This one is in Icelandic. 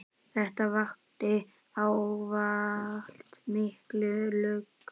Þetta vakti ávallt mikla lukku.